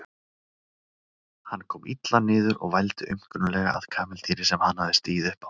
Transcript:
Hann kom illa niður og vældi aumkunarlega að kameldýri sem hann hafði stigið upp á.